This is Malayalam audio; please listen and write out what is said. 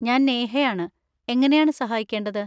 ഞാൻ നേഹയാണ്, എങ്ങനെയാണ് സഹായിക്കേണ്ടത്?